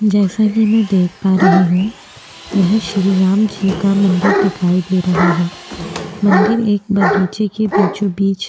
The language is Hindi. जैसा कि मैं देख पा रही हूं यह श्री राम जी का मंदिर दिखाई दे रहा है। मंदिर एक बगीचे के बीचो बिच --